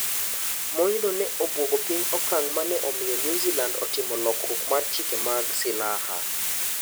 Monj no ne obwogo piny okang' maneomiyo New Zealand otimo lokruok mar chike mag silaha.